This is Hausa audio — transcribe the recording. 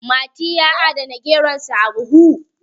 mati ya adana geronsa a buhu